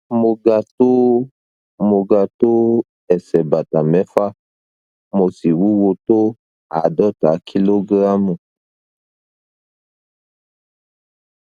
mo ga tó mo ga tó ẹsẹ bàtà mẹfà mo sì wúwo tó àádọta kìlógíráàmù